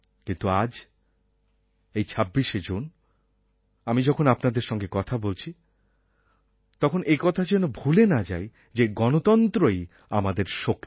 কিন্তু আজ এই ২৬শে জুন আমি যখন আপনাদের সঙ্গে কথা বলছি তখন একথা যেন ভুলে না যাই যে গণতন্ত্রই আমাদের শক্তি